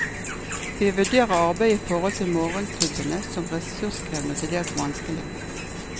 Vi vurderer arbeidet i forhold til morgenklubbene som ressurskrevende og til dels vanskelig.